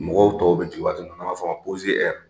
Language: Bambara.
Mɔgɔw tɔw bɛ jigin waati min na n'a b'a fɔ ma